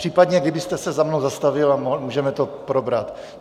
Případně kdybyste se za mnou zastavil a můžeme to probrat.